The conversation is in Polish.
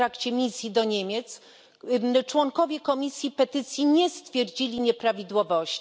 w trakcie misji do Niemiec, członkowie Komisji Petycji nie stwierdzili nieprawidłowości.